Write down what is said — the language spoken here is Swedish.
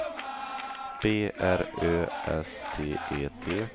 B R Ö S T E T